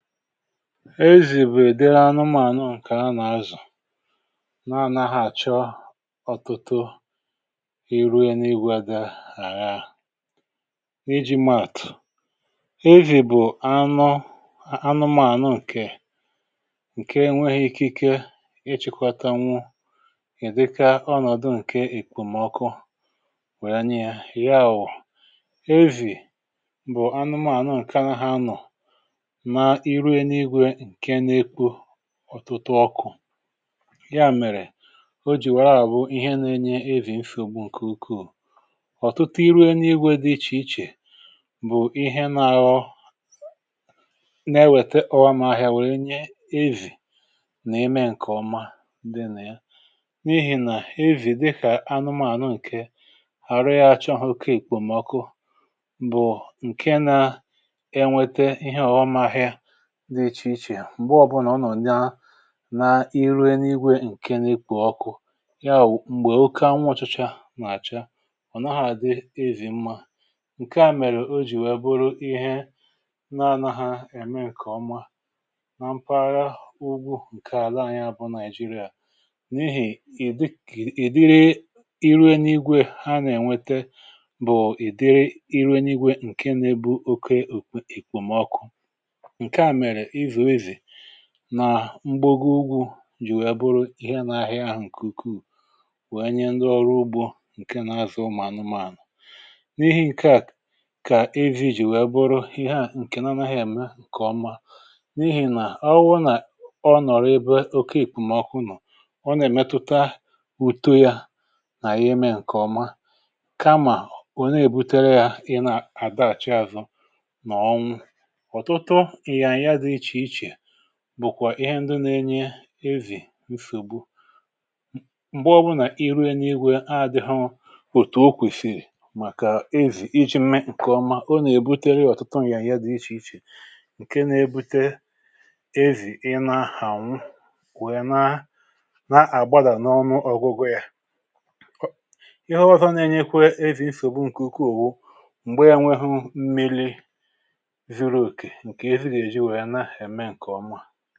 e zìbè èdere anụmànụ ǹkè a nà-azụ̀ na-ànaghà àchọ ọtụtụ i ruo ya n’igwȧdi̇ àya iji̇ matụ̀ e zìbù anụ anụmànụ ǹkè ǹke nwėghi̇ ike ikikwȧtanwu ị̀dịka ọǹọdụ ǹkè ìkpòmọkụ wèe anyi yȧ ị̀ghawụ̀ ezì bụ̀ anụmànụ ǹkè a na ha nọ̀ ọtụtụ ọkụ̇ ya mèrè o jì wèe ahụ̀ bụ ihe na-enye evì nfị̀ ògbu ǹkè ukwuù ọ̀tụtụ iruo n’igwė dị ichè ichè bụ̀ ihe na ọ na-ewète ọgham ahịa wèrè nye evì nà-ime ǹkèọma ndị nà ya n’ihì nà evì dịkà anụmànụ ǹke hà rie achọ hȧ oke ìkpòmọkụ bụ̀ ǹke na-enwete ihe ọghọmahịa nà-ere n’igwė ǹkè na-ekwù ọkụ ya m̀gbè oké anwụ̇chȯȧ nà-àcha ọ̀ naghȧ àdị ezì mmȧ ǹkè a mèrè o jì wee bụrụ ihe na-anȧ hȧ ème ǹkè ọma na mpaghara ugwu ǹkè àla anyị̇ abụ naịjirịà n’ihì ìdiri ịre n’igwė ha nà-ènwete bụ̀ ị̀dịrị ịrụ n’igwė ǹkè na-ebu oke èkpòmọkụ nà mgboggi ugwu̇ jì wèe bụrụ ihe nà-àhịa ahụ̀ kèuku wèe nye ndị ọrụ ugbȯ ǹke na-azụ mà anụmȧnụ̀ n’ihi ǹke à kà av jì jì wèe bụrụ ihe ǹkè nà ọ nà-àhịa ème ǹkè ọma n’ihì nà ọgwụ nà ọ nọ̀rọ̀ ebe òkéì pụ̀mà ọkụ nọ̀ ọ nà-èmetuta uto yȧ nà-àyị ime ǹkè ọma kamà òne èbutere yȧ ịna àda àcha àzụ nà ọm bụ̀kwà ihe ndị nȧ-enye ezì nsògbu m̀gbe ọbu nà iruė n’igwė adị̇ghụ òtù okwìsìrì màkà ezì iji̇ mmė ǹkè ọma ọ nà-èbutere ọ̀tụtụ mà ya ihe dị̇ ichèichè ǹke nȧ-ebute ezì ịna hà nwụ wèe na na-àgbadà n’ọnụ ọ̀gụgụ yȧ ihe ọzọ̇ na-enyekwe ezì nsògbu ǹkè ukwu òwu m̀gbe e nwehu mmiri̇ ziri òkè eme ǹkè ọmụà